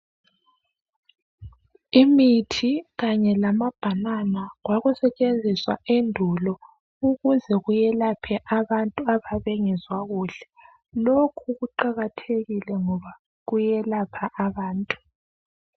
Imithi kanye lamabhanana kwakusetshenziswa endulo ukuze kuyelaphe abantu ababengezwa kuhle. Lokhu kuqakathekile ngoba kuyelapha abantu.